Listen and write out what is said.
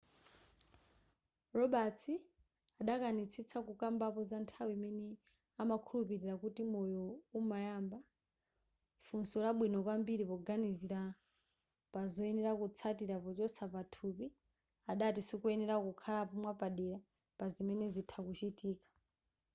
roberts adakanitsitsa kukambapo za nthawi imene amakhulupirira kuti moyo umayamba funso labwino kwambiri poganizira pazoyenera kutsatira pochotsa pathupi adati sikoyenera kuyankhapo mwapadera pazimene zitha kuchitika